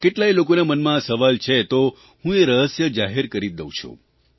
કેટલાંય લોકોના મનમાં આ સવાલ છે તો હું એ રહસ્ય જાહેર કરી જ દઉં છું